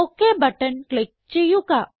okay button click ചെയ്യുക